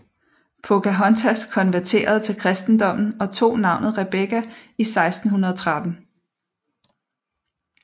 Pocahontas konverterede til kristendommen og tog navnet Rebekka i 1613